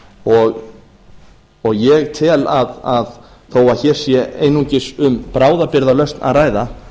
og ég tel að þó að hér sé einungis um bráðabirgðalausn að ræða